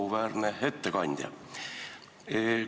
Auväärne ettekandja!